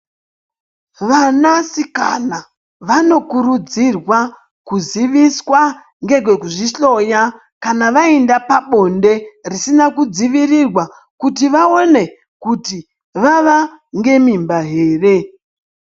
Vanasikana vanokurudzirwa kuziviswa ngekekuzvihloya kana vayinda pabonde risina kudzivirirwa, kuti vaone kuti vava ngemimba here?